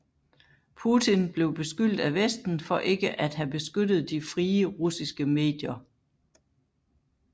Putin blev beskyldt af Vesten for ikke at have beskyttet de frie russiske medier